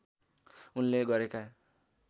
उनले गरेका